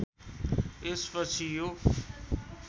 यस पछि यो